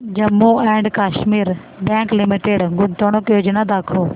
Jammu and Kashmir bank limited गुंतवणूक योजना दाखव